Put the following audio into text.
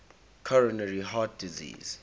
coronary heart disease